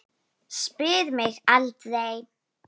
Spyr mig aldrei.